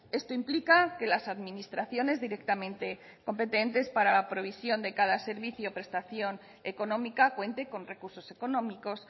esto implica que las administraciones directamente competentes para la provisión de cada servicio prestación económica cuente con recursos económicos